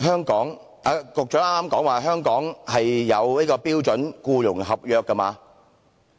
"局長剛才是否提到香港有標準僱傭合約？